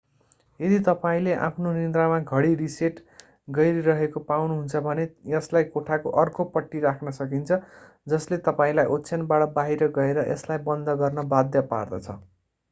यदि तपाईंले आफ्नो निद्रामा घडी रिसेट गरिरहेको पाउनुहुन्छ भने यसलाई कोठाको अर्को पट्टि राख्न सकिन्छ जसले तपाईंलाई ओछयानबाट बाहिर गएर यसलाई बन्द गर्न बाध्य पार्दछ